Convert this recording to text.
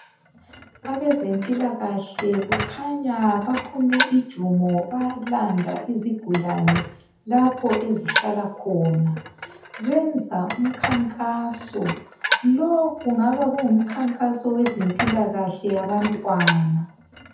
Abezempilakahle kukhanya baphume ijumo balanda izigulane lapho ezihlala khona benza umkhankaso lo kungabe kungumkhankaso wezempilakahle yabantwana.